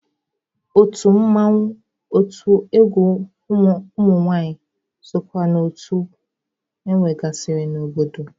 Otu mmanwụ, otu egwu ụmụnwaanyị sokwa na otu enwegasịrị n'obodo.